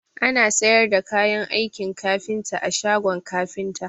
Ana sayar da kayan aikin kafinta a shagon kafinta